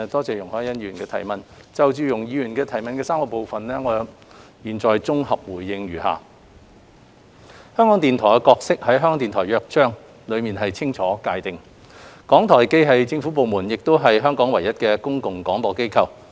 就容海恩議員所提質詢的3個部分，我現在綜合答覆如下：香港電台的角色在《香港電台約章》內清楚界定，港台既是政府部門，亦是香港唯一的公共廣播機構。